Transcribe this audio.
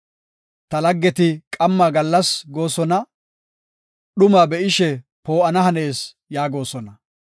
Ta laggeti qamma gallas goosona; dhuma be7ishe ‘Poo7ana hanees’ yaagosona.